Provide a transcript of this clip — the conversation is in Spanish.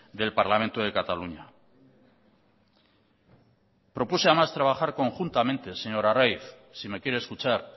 del parlamento de cataluña propuse además trabajar conjuntamente señor arraiz si me quiere escuchar